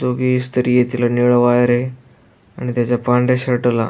जो भी इस्त्री तिला निळ वायरय आणि त्याच्या पांढऱ्या शर्टला --